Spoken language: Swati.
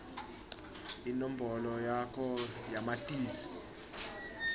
inombolo yakho yamatisi